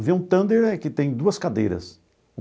Avião Thunder é que tem duas cadeiras.